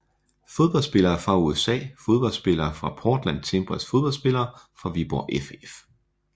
Fodboldspillere fra USA Fodboldspillere fra Portland Timbers Fodboldspillere fra Viborg FF